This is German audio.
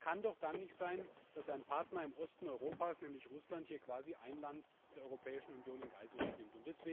Es kann doch dann nicht sein, dass ein Partner im Osten Europas, nämlich Russland, hier quasi ein Land der Europäischen Union in Geiselhaft nimmt.